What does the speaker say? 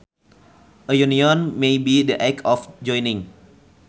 A union may be the act of joining